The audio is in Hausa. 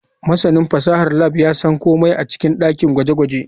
Masanin fasahar lab ya san komai a cikin dakin gwaje-gwaje.